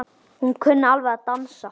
Hún kunni alveg að dansa.